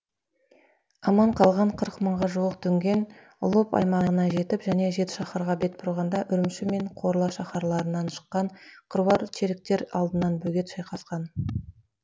аман қалған қырық мыңға жуық дүнген лоп аймағына жетіп және жетішаһарға бет бұрғанда үрімші мен корла шаһарларынан шыққан қыруар чериктер алдынан бөгеп шайқасқан